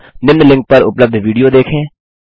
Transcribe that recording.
निम्न लिंक पर उपलब्ध विडियो देखें